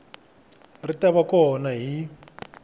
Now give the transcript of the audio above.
ri ta va kona hi